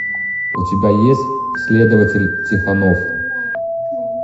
у тебя есть следователь тихонов